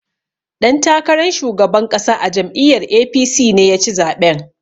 Ɗan takaran shugaban ƙasa a jam'iyyar A.P.C ne ya ci zaɓen.